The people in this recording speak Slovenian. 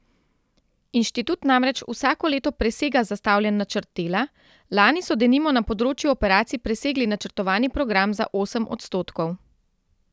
Inštitut namreč vsako leto presega zastavljen načrt dela, lani so denimo na področju operacij presegli načrtovani program za osem odstotkov.